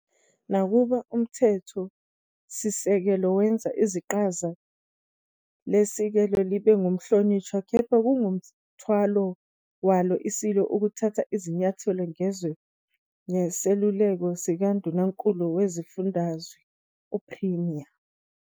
Nakuba umthetho-sisekelo wenza iqhaza leSilo libe ngukuhlonishwa, kepha kungumthwalo waso iSilo ukuthatha izinyathelo ngezwe ngeseluleko sikaNdunankulu wesifundazwe, Premier.